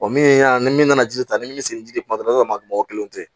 min y'a ni min nana ji ta ni min bɛ se ni ji di ma kuma dɔ la i b'a sɔrɔ ma mɔgɔ kelen tɛ